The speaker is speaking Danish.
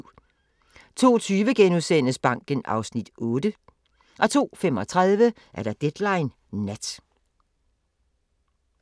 02:20: Banken (Afs. 8)* 02:35: Deadline Nat